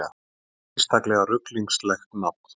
Einstaklega ruglingslegt nafn